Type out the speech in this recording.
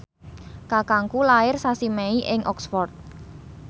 kakangku lair sasi Mei ing Oxford